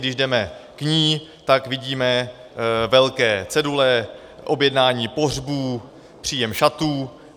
Když jdeme k ní, tak vidíme velké cedule: objednání pohřbů, příjem šatů...